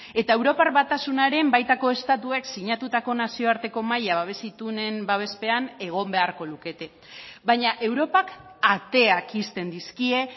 eta europar batasunaren baitako estatuek sinatutako nazioarteko mahaia babes itunen babespean egon beharko lukete baina europak ateak ixten dizkie